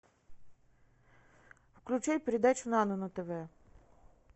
включай передачу нано на тв